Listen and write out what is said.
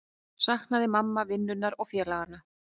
Saknaði mamma vinnunnar og félaganna?